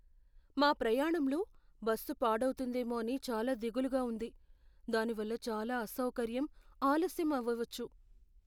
మా ప్రయాణంలో బస్సు పాడవు తుందేమో అని చాలా దిగులుగా ఉంది, దానివల్ల చాలా అసౌకర్యం, ఆలస్యం అవ్వవచ్చు.